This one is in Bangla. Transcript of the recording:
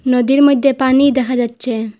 নদীর মইদ্যে পানি দেখা যাচ্ছে।